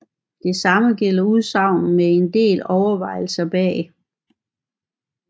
Det samme gælder udsagn med en del overvejelser bag